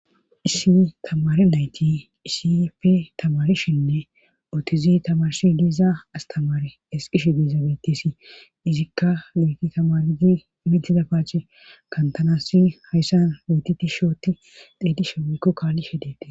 Issi tamari nayti isipe tamarishinne ootizi tamarsi diiza astamare esqishe diiza bettisi izikka noyti tamaridi mitiza paache kantanasi hayssan mootiti shooti deedishe wekko kaallishe dete